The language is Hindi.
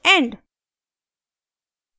end